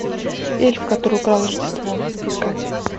эльф который украл рождество искать